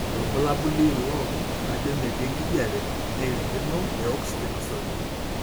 Orbulabuli ilo ajo metii enkijiape nairirikino eoxygen osarge.